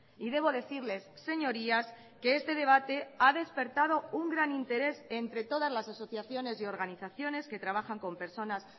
y debo decirles señorías que este debate ha despertado un gran interés entre todas las asociaciones y organizaciones que trabajan con personas